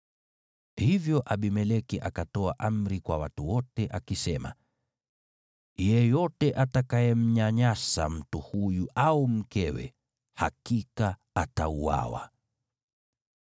Hivyo Abimeleki akatoa amri kwa watu wote, akisema, “Yeyote atakayemnyanyasa mtu huyu au mkewe hakika atauawa.”